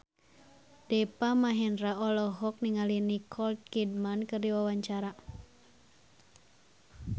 Deva Mahendra olohok ningali Nicole Kidman keur diwawancara